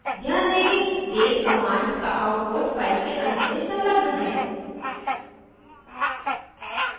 ध्यान दें कि date command का output file के अंत में संलग्न है